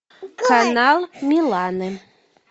канал миланы